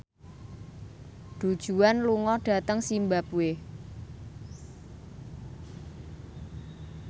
Du Juan lunga dhateng zimbabwe